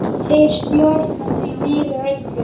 Þeir stjórna því miður öllu.